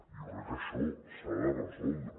jo crec que això s’ha de resoldre